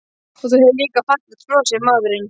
Og þú hefur líka fallegt bros, segir maðurinn.